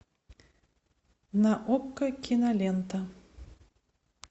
на окко кинолента